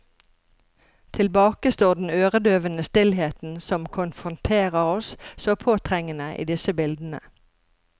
Tilbake står den øredøvende stillheten som konfronterer oss, så påtrengende, i disse bildene.